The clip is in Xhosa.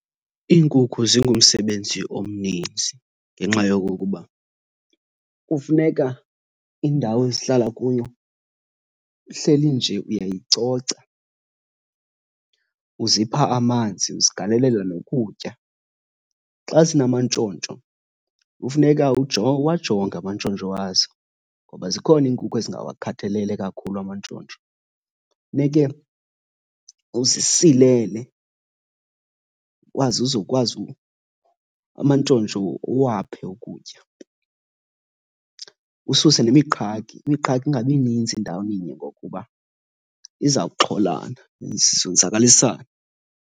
Iinkukhu zingumsebenzi omninzi ngenxa yokokuba kufuneka indawo ezihlala kuyo uhleli nje uyayicoca, uzipha amanzi, uzigalelela nokutya. Xa zinamantshontsho, kufuneka uwajonge amantshontsho wazo ngoba zikhona iinkukhu ezingawakhathalele kakhulu amantshontsho. Funeke uzisilele, ukwazi uzokwazi amantshontsho uwaphe ukutya. Ususe nemiqhagi, imiqhagi ingabi ninzi endaweninye ngokuba izawuxholana zonzakalisane.